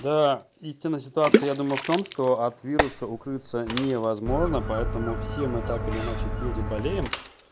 да истина ситуация я думаю в том что от вируса укрыться невозможно поэтому все мы так или иначе переболеем